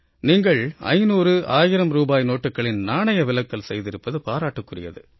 நீங்கள் 500 1000 ரூபாய் நோட்டுக்களின் நாணய விலக்கல் செய்திருப்பது பாராட்டுக்குரியது